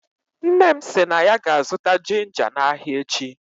Nne m si na ya ga-azụta ginga na ahịa echi.